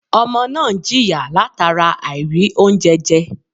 Ọmọ náà n jìyà látara àìrì oúnjẹ je